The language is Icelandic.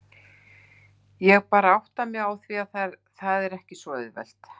Ég er bara að átta mig á því að það er ekki svo auðvelt.